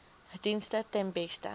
dienste ten beste